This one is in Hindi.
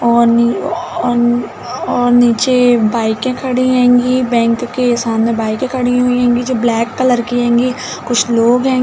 औ न्यू औ औ नीचे बाइके खड़ी हेंगी बैंक के सामने बाइके खड़ी हुई हेंगी जो ब्लैक कलर की हेंगी कुछ लोग हेंगे --